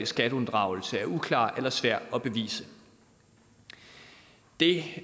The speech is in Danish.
skatteunddragelse er uklar eller svær at bevise det